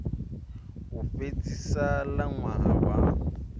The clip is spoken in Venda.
u fhedzisa ḽa ṅwaha wa